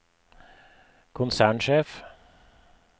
konsernsjef